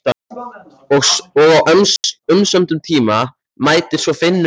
Og á umsömdum tíma mætir svo Finnur hjá Spes.